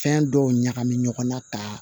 Fɛn dɔw ɲagamana ka